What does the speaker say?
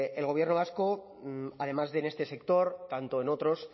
el gobierno vasco además de en este sector tanto en otros